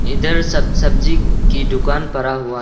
इधर सब सब्जी की दुकान पड़ा हुआ है।